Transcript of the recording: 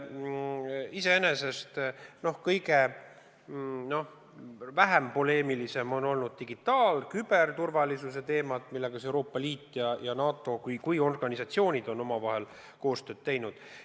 Iseenesest kõige vähem poleemilised on olnud digitaal-, küberturvalisuse teemad, mille puhul Euroopa Liit ja NATO kui organisatsioonid on omavahel koostööd teinud.